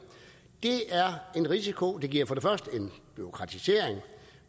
det er en risiko det giver for det første bureaukratisering